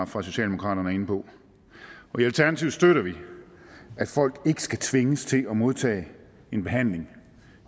for socialdemokraterne er inde på i alternativet støtter vi at folk ikke skal tvinges til at modtage en behandling